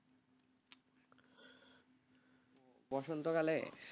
বসন্ত কালে,